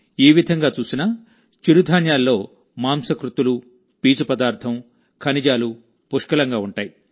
ఈ విధంగా చూసినా చిరుధాన్యాల్లో ప్రోటీన్ ఫైబర్ ఖనిజాలు పుష్కలంగా ఉంటాయి